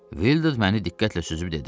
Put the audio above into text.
Vildur məni diqqətlə süzüb dedi.